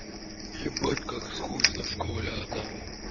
ебать как скучно в школе одному